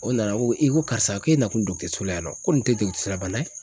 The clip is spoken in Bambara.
O nana ko i ko karisa k'e nakun la yan nɔ ko nin tɛ la bana ye.